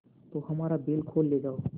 तो हमारा बैल खोल ले जाओ